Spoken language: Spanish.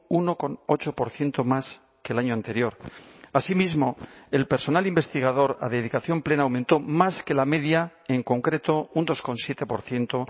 uno coma ocho por ciento más que el año anterior asimismo el personal investigador a dedicación plena aumentó más que la media en concreto un dos coma siete por ciento